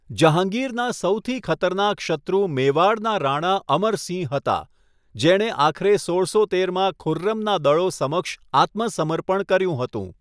જહાંગીરનાં સૌથી ખતરનાક શત્રુ મેવાડનાં રાણા અમરસિંહ હતાં, જેણે આખરે સોળસો તેરમાં ખુર્રમના દળો સમક્ષ આત્મસમર્પણ કર્યું હતું.